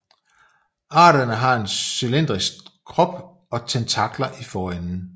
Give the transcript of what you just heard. Arterne har en cylindrisk krop og tentakler i forenden